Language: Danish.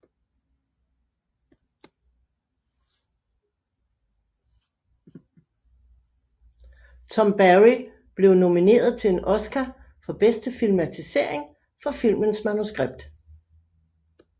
Tom Barry blev nomineret til en Oscar for bedste filmatisering for filmens manuskript